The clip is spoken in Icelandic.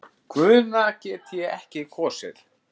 Guðna get ég ekki kosið.